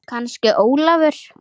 Kannski Ólafur.